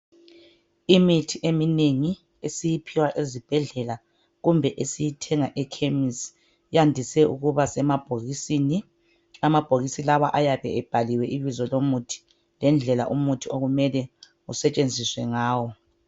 Imithi eminengi esiyiphiwa ezibhedlela kumbe esiyithenga ekhemisi iyadise ukuba semabhokisini amabhokisi lawa ayabe ebhaliwe ibizo lomuthi lendlela umuthi okumele usetshenziswe ngawo.